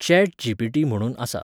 Chat G P T म्हणून आसा.